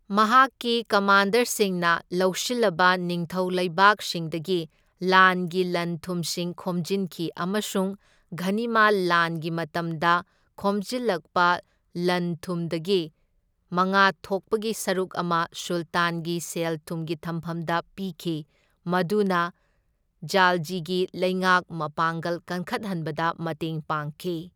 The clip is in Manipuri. ꯃꯍꯥꯛꯀꯤ ꯀꯃꯥꯟꯗꯔꯁꯤꯡꯅ ꯂꯧꯁꯤꯜꯂꯕ ꯅꯤꯡꯊꯧ ꯂꯩꯕꯥꯛꯁꯤꯡꯗꯒꯤ ꯂꯥꯟꯒꯤ ꯂꯟ ꯊꯨꯝꯁꯤꯡ ꯈꯣꯝꯖꯤꯟꯈꯤ ꯑꯃꯁꯨꯡ ꯘꯅꯤꯃꯥ ꯂꯥꯟꯒꯤ ꯃꯇꯝꯗ ꯈꯣꯝꯖꯤꯜꯂꯛꯄ ꯂꯟ ꯊꯨꯝꯗꯒꯤ ꯃꯉꯥ ꯊꯣꯛꯄꯒꯤ ꯁꯔꯨꯛ ꯑꯃ ꯁꯨꯜꯇꯥꯟꯒꯤ ꯁꯦꯜ ꯊꯨꯝꯒꯤ ꯊꯝꯐꯝꯗ ꯄꯤꯈꯤ, ꯃꯗꯨꯅ ꯈꯥꯜꯖꯤꯒꯤ ꯂꯩꯉꯥꯛ ꯃꯄꯥꯡꯒꯜ ꯀꯟꯈꯠꯍꯟꯕꯗ ꯃꯇꯦꯡ ꯄꯥꯡꯈꯤ꯫